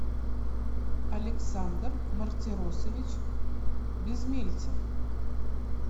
александр мартиросович безмельцев